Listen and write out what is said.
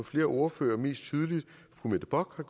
flere ordførere og mest tydeligt fru mette bock har